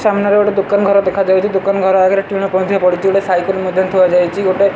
ସାମ୍ନାରେ ଗୋଟେ ଦୋକାନ୍ ଘର ଦେଖାଯାଉଚି ଦୋକାନ ଘର ଆଗରେ ଟିଣକ୍ ମଧ୍ୟ ପଡିଚି ଗୋଟେ ସାଇକେଲ୍ ମଧ୍ୟ ଥୁଆଯାଇଛି ଗୋଟେ --